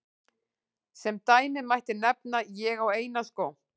Sem dæmi mætti nefna: Ég á eina skó.